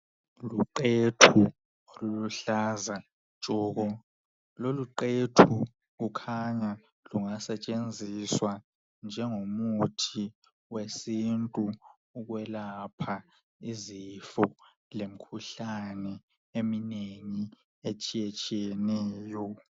Luqethu oluluhlaza tshoko loluqethu kukhanya lungasetshenziswa njengomuthi wesintu ukwelapha izifo lemikhuhlane eminengi etshiyetshiyeneyo .